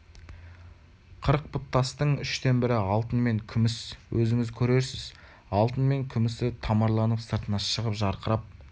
қырық пұт тастың үштен бірі алтын мен күміс өзіңіз көрерсіз алтыны мен күмісі тамырланып сыртына шығып жарқырап